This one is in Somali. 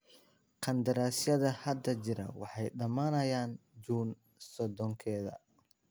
Qandaraasyada hadda jira waxay dhamanayaan Juun sodonkeda.